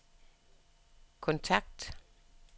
kontakt